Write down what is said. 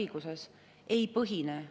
Kahjuks ei saanud seda enne ära lahendada.